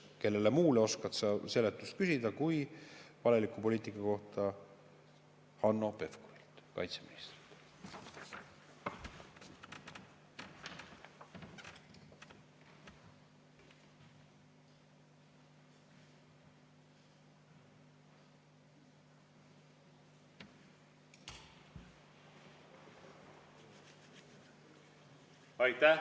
Kellelt muult oskad sa valeliku poliitika kohta seletust küsida kui Hanno Pevkurilt, kaitseministrilt.